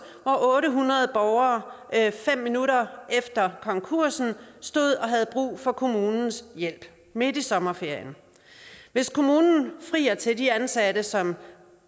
hvor otte hundrede borgere fem minutter efter konkursen stod og havde brug for kommunens hjælp midt i sommerferien hvis kommunen frier til de ansatte som